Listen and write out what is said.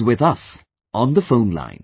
He is with us on the phone line